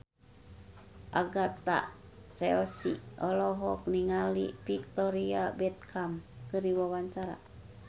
Agatha Chelsea olohok ningali Victoria Beckham keur diwawancara